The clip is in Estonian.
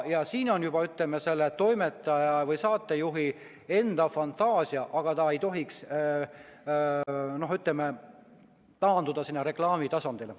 Ja siin on oluline juba toimetaja või saatejuhi enda fantaasia, aga ta ei tohiks taanduda reklaamitasandile.